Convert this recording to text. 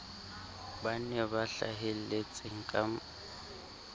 ba bane ba hlahelletseng ka